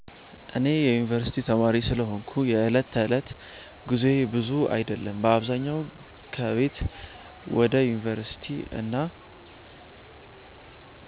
እኔ የዩንቨርሲቲ ተማሪ ስለሆንኩ የዕለት ተዕለት ጉዞዬ ብዙ አይደለም። በአብዛኛው ከቤት ወደ ዩንቨርሲቲ እና